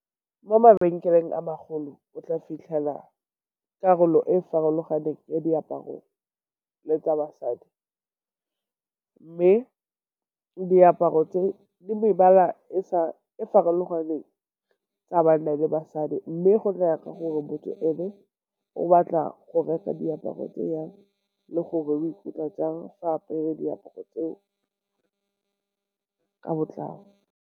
Mo mabenkeleng a magolo o tla fitlhela karolo e e farologaneng ya diaparo tsa basadi, mme diaparo tse di mebala e farologaneng tsa banna le basadi. Mme go tla ya ka gore motho e ne o batla go reka diaparo tse jang le gore o ikutlwa jang fa a apere diaparo tseo ka botlalo.